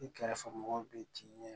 I kɛrɛfɛ mɔgɔw bɛ t'i ɲɛ